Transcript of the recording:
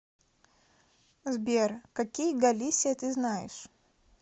сбер какие галисия ты знаешь